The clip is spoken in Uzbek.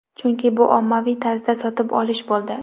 Chunki bu ommaviy tarzda sotib olish bo‘ldi.